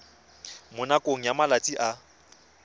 mo nakong ya malatsi a